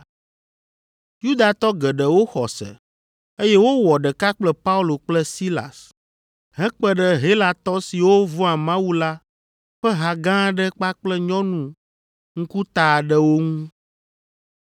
Yudatɔ geɖewo xɔ se, eye wowɔ ɖeka kple Paulo kple Silas, hekpe ɖe Helatɔ siwo vɔ̃a Mawu la ƒe ha gã aɖe kpakple nyɔnu ŋkuta aɖewo ŋu.